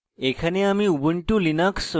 এখানে আমি